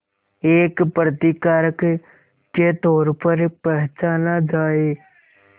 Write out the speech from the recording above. एक प्रतिकारक के तौर पर पहचाना जाए